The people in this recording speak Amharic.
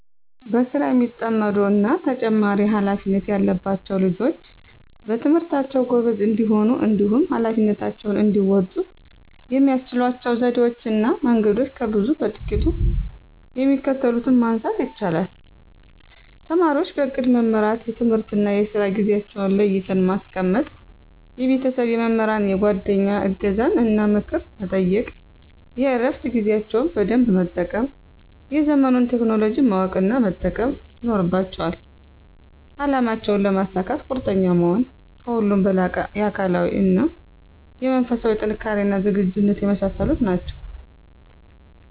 በስራ የሚጠመዱ እና ተጨማሪ ሃላፊነት ያለባቸዉ ልጆች በትምህርታቸዉ ጎበዝ እንዲሆኑ እንዲሁም ኀላፊነታቸውን እንዲወጡ የሚያስችሏቸው ዘዴወች እና መንገዶች ከብዙ በጥቂቱ የሚከተሉትን ማንሳት ይቻላል:- ተማሪወች በእቅድ መመራት፤ የትምህርትና የስራ ጊዜአቸዉን ለይተው ማስቀመጥ፤ የቤተሰብ፣ የመምህራን፣ የጓደኛ እገዛን እና ምክር መጠየቅ፤ የእረፋት ጊዜያቸውን በደንብ መጠቀም፤ የዘመኑን ቴክኖሎጂ ማወቅ እና መጠቀም ይኖርባቸዋል፤ አላማቸውን ለመሳካት ቁርጠኛ መሆን፤ ከሁሉም በላቀ የአካላዊ እና የመንፈስ ጥንካሬና ዝግጁነት የመሳሰሉት ናቸዉ።